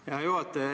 Aitäh, hea juhataja!